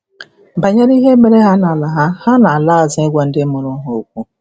banyere ihe mere ha na-ala ha na-ala azụ ịgwa ndị mụrụ ha okwu.